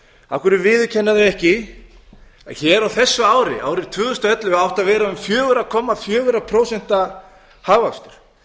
hverju viðurkennir hún ekki að á þessu ári árinu tvö þúsund og ellefu átti að vera um fjóra komma fjögur prósent hagvöxtur